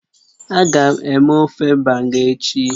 Agam eme ofe Banga echi